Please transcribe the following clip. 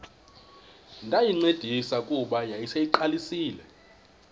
ndayincedisa kuba yayiseyiqalisile